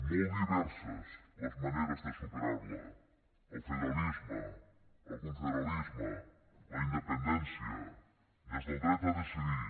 molt diverses les maneres de superar la el federalisme el confederalisme la independència des del dret a decidir